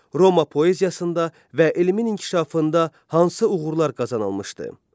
Roma poeziyasında və elmin inkişafında hansı uğurlar qazanılmışdı?